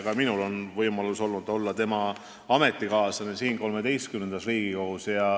Ka minul on olnud võimalik olla tema ametikaaslane siin XIII Riigikogus.